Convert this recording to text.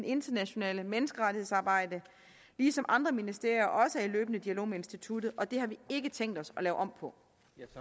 internationale menneskerettighedsarbejde ligesom andre ministerier også er i løbende dialog med instituttet og det har vi ikke tænkt os at lave om på